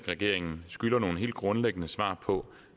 regeringen skylder nogle helt grundlæggende svar på